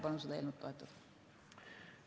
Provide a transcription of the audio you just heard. Palun seda eelnõu toetada!